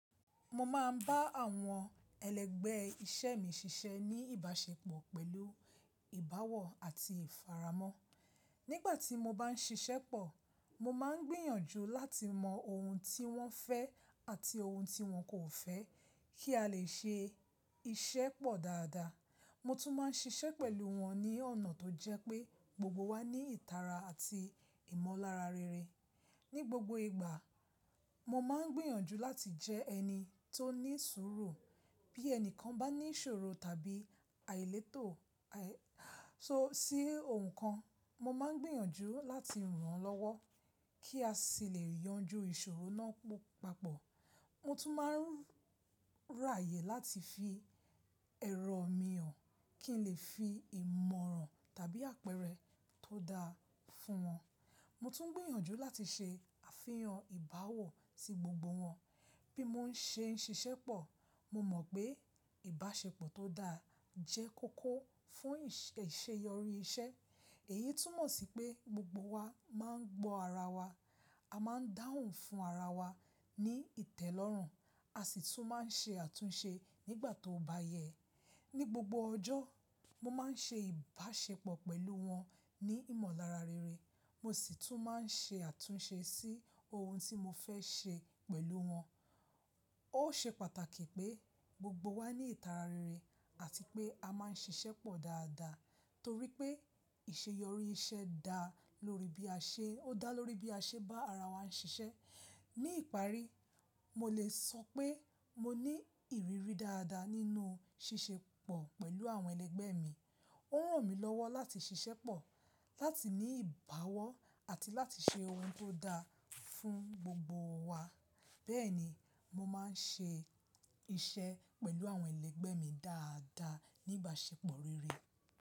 Mo máa ń bá àwọn ẹlẹgbẹ́ iṣẹ́ mi ṣiṣẹ́ ní ìbáṣepọ̀ pẹ̀lú ìbáwọ̀ àti ìfààmọ́. Nígbà tí mo bá ń ṣiṣẹ́ pọ̀, mo máa ń gbìyànjú láti mọ ohun tí wọ́n fẹ́ àti ohun tí wọn kò fẹ́, kí a lè ṣe iṣẹ́ pọ̀ dáadáa. Mo tún máa ń ṣiṣẹ́ pẹ̀lú wọn ní ọ̀nà tó jẹ́ pé gbogbo wa ní ìtara àti ìmọ̀lára rere. Ní gbogbo ìgbà, mo máa ń gbìyànjú láti jẹ́ ẹni tó ní sùúrù. Bí ẹnìkan bá ní ìṣòro tàbí àìletò sí ohun kan, mo máa ń gbìyànjú láti ràn án lọ́wọ́ kí a sì lè yanjú ìṣòro náà papọ̀. Mo tún máa ń ráyè láti fi ẹ̀rọ mi hàn kí n lè fi ìmọ̀ràn tàbí àpẹẹrẹ tó dáa fún wọn. Mo tún ń gbìyànjú láti ṣe àfihàn ìbáwọ̀ sí gbogbo wọn. Bí mo ń ṣe ń ṣiṣẹ́ pọ̀, mo mọ̀ pé ìbáṣepọ̀ tó dáa jẹ́ kókó fún ìṣeyọrí iṣẹ́. Èyí tún mọ̀ sí pé gbogbo wa máa ń gbọ́ ara wa, a máa ń dáhùn fún ara wa ní ìtẹ́lọ́rùn, a sì tún máa ń ṣe àtúnṣe nígbà tó bá yẹ. Ni gbogbo ọjọ́, mo máa ń ṣe ìbáṣepọ̀ pẹ̀lú wọn ní ìmọ̀lára rere, mo sì tún máa ń ṣe àtúnṣe sí ohun tí mo fẹ́ ṣe pẹ̀lú wọn. Ó ṣe pàtàkì pé gbogbo wa ní ìtara rere àti pé a máa ń ṣiṣẹ́ pọ̀ dáadáa torí pé ìṣeyọrí iṣẹ́ dá lórí bí a ṣe bá ara wa ń ṣiṣẹ́. Ní ìparí, mo lè sọ pé mo ní ìrírí dáadáa nínú ṣíṣe pọ̀ pẹ̀lú àwọn ẹlẹgbẹ́ mi. Ó ràn mí lọ́wọ́ láti ṣiṣẹ́ pọ̀, láti ní ìbáwọ́ àti láti ṣe ohun tó dáa fún gbogbo wa. Bẹ́ẹ̀ni, mo máa ń ṣe iṣẹ́ pẹ̀lú àwọn ẹlẹgbẹ́ mi dáadáa ní ìbáṣepọ̀ rere.